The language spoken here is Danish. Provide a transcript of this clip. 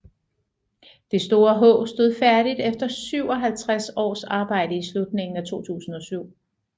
Det store H stod færdigt efter 57 års arbejde i slutningen af 2007